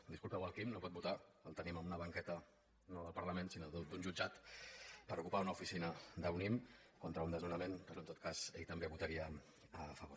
disculpeu el quim no pot votar el tenim en una banqueta no del parlament sinó d’un jutjat per ocupar una oficina d’unnim contra un desnonament però en tot cas ell també hi votaria a favor